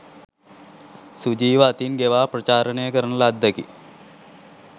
සුජීව අතින් ගෙවා ප්‍රචාරණය කරන ලද්දකි